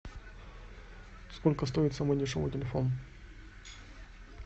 сколько стоит самый дешевый телефон